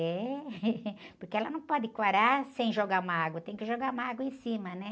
É, porque ela não pode quarar sem jogar uma água, tem que jogar uma água em cima, né?